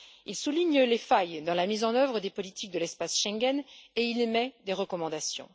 Il souligne les failles dans la mise en œuvre des politiques de l'espace Schengen et il émet des recommandations.